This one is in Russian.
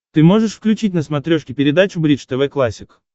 ты можешь включить на смотрешке передачу бридж тв классик